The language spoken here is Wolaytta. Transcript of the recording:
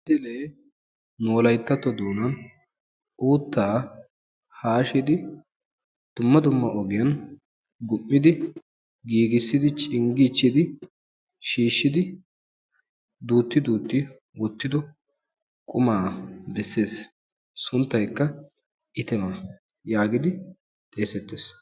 Nu wolayttato doonan uuttaa hashshidi dumma dumma ogiyaan gum''idi giigissidi cinggiichchidi duuti duuti wottido quma beessees sunttaykka itima getetees.